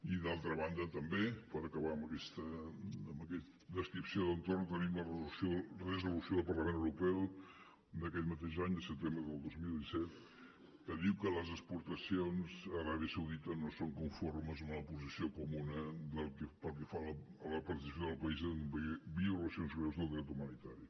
i d’altra banda també per acabar amb aquesta descripció d’entorn tenim la resolució del parlament europeu d’aquest mateix any de setembre del dos mil disset que diu que les exportacions a l’aràbia saudita no són conformes a una posició comuna pel que fa a la participació del país en violacions greus del dret humanitari